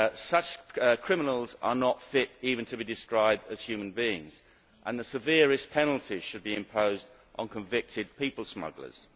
Such criminals are not fit even to be described as human beings, and the severest penalties should be imposed on convicted people smugglers.